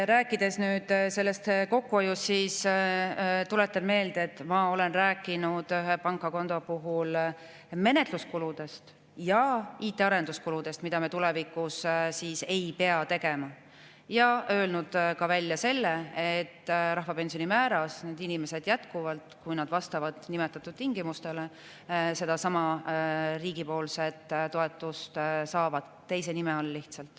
Rääkides kokkuhoiust, tuletan meelde, et ma olen rääkinud ühe pangakonto puhul menetluskuludest ja IT‑arenduskuludest, mida me tulevikus ei pea tegema, ja olen öelnud välja selle, et rahvapensioni määras need inimesed jätkuvalt, kui nad vastavad nimetatud tingimustele, sedasama riigi toetust saavad, lihtsalt teise nime all.